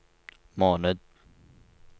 måned